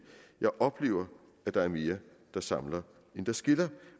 jeg oplever at der er mere der samler end der skiller